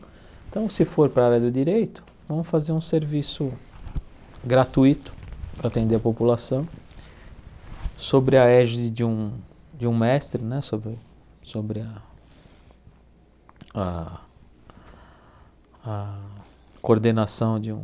Então, se for para a área do direito, vamos fazer um serviço gratuito para atender a população sobre a égide de um mestre né, sobre sobre a a a coordenação de um